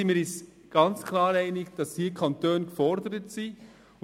Wir sind uns ganz klar einig darin, dass die Kantone gefordert sind.